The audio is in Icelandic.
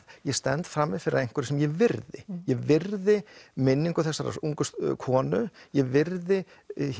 ég stend frammi fyrir einhverju sem ég virði ég virði minningu þessarar ungu konu ég virði